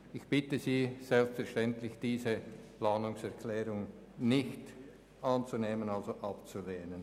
Ich bitte Sie selbstverständlich darum, diese Planungserklärung nicht anzunehmen, sondern abzulehnen.